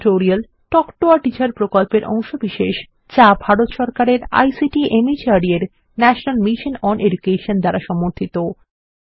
spoken tutorial talk to a teacher প্রকল্পের অংশবিশেষ যা ভারত সরকারের আইসিটি মাহর্দ এর ন্যাশনাল মিশন ওন এডুকেশন দ্বারা সমর্থিত